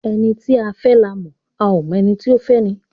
Ẹni a fẹ́ la mọ̀, a ó mọ ẹni tí ó fẹ́ni